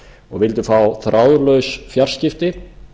og vildu fá þráðlaus fjarskipti